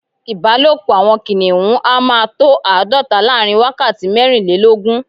Ìbálòpọ́ àwọn kìnìhún a máa tó àádọ́ta láàrin wákàtí mẹ́rìnlélógún.